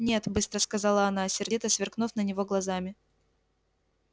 нет быстро сказала она сердито сверкнув на него глазами